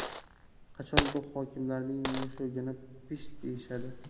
Qachon bu hokimlarning mushugini pisht deyishadi?